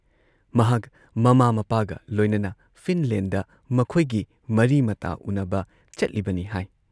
ꯃꯍꯥꯛ ꯃꯃꯥ ꯃꯄꯥꯒ ꯂꯣꯏꯅꯅ ꯐꯤꯟꯗꯂꯦꯟꯗ ꯃꯈꯣꯏꯒꯤ ꯃꯔꯤꯃꯇꯥ ꯎꯅꯕ ꯆꯠꯂꯤꯕꯅꯤ ꯍꯥꯏ ꯫